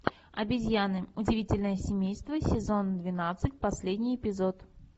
обезьяны удивительное семейство сезон двенадцать последний эпизод